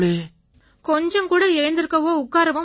கொஞ்சம் கூட எழுந்திருக்கவோ உட்காரவோ முடியாது